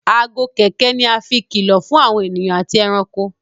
Aago kẹ̀kẹ́ ní a fín kìlọ fún àwọn ènìyàn àti ẹranko.